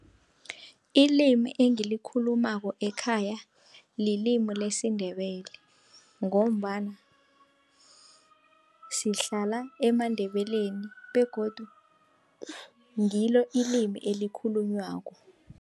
Ilimi engilikhulumako ekhaya lilimi lesiNdebele, ngombana sihlala emaNdebeleni begodu ngilo ilimi elikhulunywako.